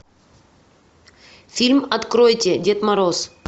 фильм откройте дед мороз